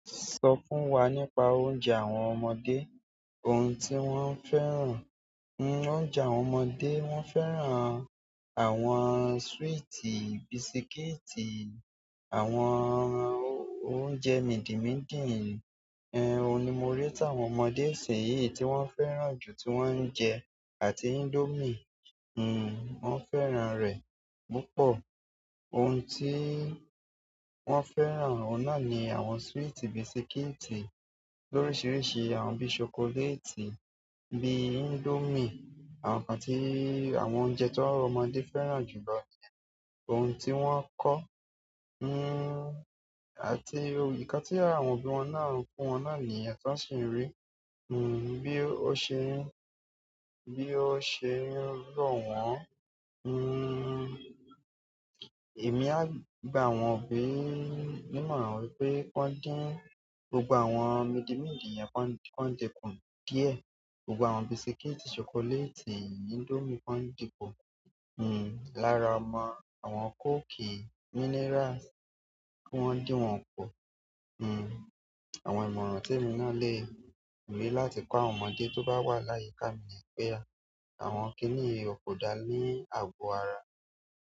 Sọ fún wa nípa oúnjẹ àwọn ọmọdé, ohun tí wọ́n ń fẹ́ràn. Oúnjẹ àwọn ọmọdé, wọ́n fẹ́ràn àwọn sweet, bisikíìtì, àwọn oúnjẹ mìdì-mídì. Ẹn, òun ni mo rí táwọn ọmọdé ìsìnyì tí wọ́n ń fẹ́ràn jù tí wọ́n ń jẹ àti indomie. Wọ́n ń fẹ́ràn rẹ̀ púpọ̀. Ohun tí wọ́n fẹ́ràn náà ni àwọn sweet bisikíìtì lóríṣiríṣi, àwọn bí chocolate, bí indomie, àwọn nǹkan tí àwọn oúnjẹ tí ọmọdé fẹ́ràn jù lọ nìyẹn. Ohun tí wọ́n kọ́, àti ǹkan tí àwọn òbí wọn náà ń fún wọn náà nìyẹn tọ́ń ṣeli ń rí. Bí ó ṣe ń rí, bí ó ṣe ń rọ̀ wọ́n. Èmi a gba àwọn òbí nímọ̀ràn wípé k'ọ́n dín gbogbo àwọn midi-mídì yẹn, k'ọ́n di, k'ọ́n di kù díẹ̀. Gbogbo àwọn biscuits, chocolate, indomie k'ọ́n di kù, lára ọmọ àwọn coke, mineral kí wọ́n dín wọn kù. Àwọn ìmọ̀ràn tí èmi náà lè rí láti kọ́ àwọn ọmọdé tó bá wà láyìká mi ní pé á. Àwọn kínì yí o kò dáa ní àgó ara.